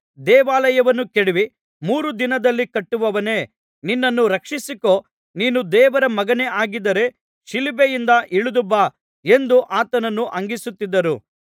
ದೇವಾಲಯವನ್ನು ಕೆಡವಿ ಮೂರು ದಿನದಲ್ಲಿ ಕಟ್ಟುವವನೇ ನಿನ್ನನ್ನು ರಕ್ಷಿಸಿಕೊ ನೀನು ದೇವರ ಮಗನೇ ಆಗಿದ್ದರೆ ಶಿಲುಬೆಯಿಂದ ಇಳಿದು ಬಾ ಎಂದು ಆತನನ್ನು ಹಂಗಿಸುತ್ತಿದ್ದರು